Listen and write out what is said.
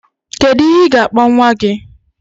Kedu ihe ga-akpọ nwa gị?